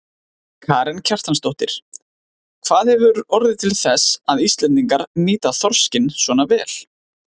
Karen Kjartansdóttir: Hvað hefur orðið til þess að Íslendingar nýta þorskinn svona vel?